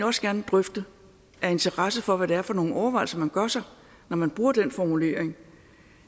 også gerne drøfte af interesse for hvad det er for nogle overvejelser man gør sig når man bruger den formulering